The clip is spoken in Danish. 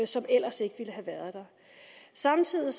som ellers ikke ville have været der samtidig